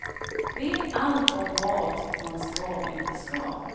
Vet allt om vad man ska och inte ska.